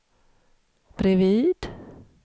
bredvid